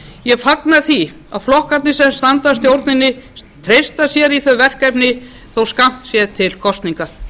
ég fagna því að flokkarnir sem standa að stjórninni treysti sér í þau verkefni þótt skammt sé til kosninga